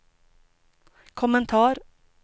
kommentar